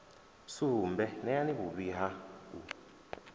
sumbe neani vhuvhi ha u